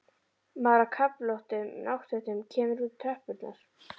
Maður á köflóttum náttfötum kemur út á tröppurnar.